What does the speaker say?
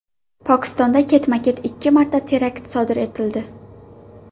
Pokistonda ketma-ket ikki marta terakt sodir etildi.